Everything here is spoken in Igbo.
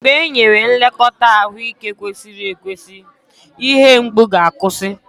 mgbe e nyere nlekọta ahụike kwesịrị ekwesị, ihe mgbu ga-akwụsị.